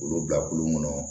Olu bila kulu kɔnɔ